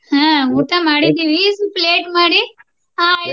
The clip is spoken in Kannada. ಹ ಊಟ ಮಾಡಿದ್ವಿ ಸ್ವಲ್ಪ late ಮಾಡಿ